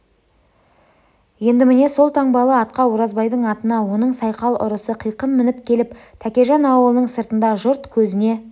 енді міне сол таңбалы атқа оразбайдың атына оның сайқал ұрысы қиқым мініп келіп тәкежан аулының сыртында жұрт көзіне